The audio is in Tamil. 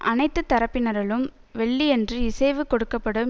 அனைத்து தரப்பினரலும் வெள்ளியன்று இசைவு கொடுக்க படும்